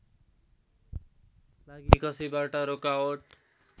लागी कसैबाट रोकावट